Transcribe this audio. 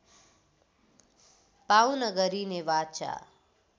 पाउन गरिने वाचा